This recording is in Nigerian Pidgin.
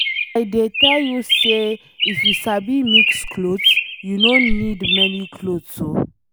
I dey tell you say if you sabi mix clothes, you no need many clothes oo.